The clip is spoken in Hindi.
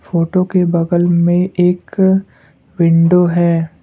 फोटो के बगल में एक विंडो है।